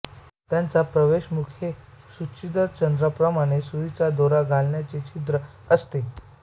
त्याचा प्रवेशमुख हे सूचिरंध्रप्रमाणेसुईचे दोरा घालण्याचे छिद्र असते